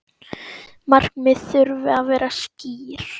Markmið þurfi að vera skýr.